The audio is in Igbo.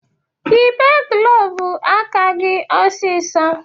Yịbe glovu aka gị ọsisọ!